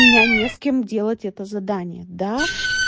у меня не с кем делать это задание да